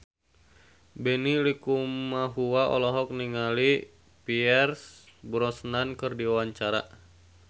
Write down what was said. Benny Likumahua olohok ningali Pierce Brosnan keur diwawancara